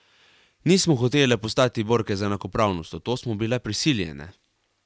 Nismo hotele postati borke za enakopravnost, v to smo bile prisiljene.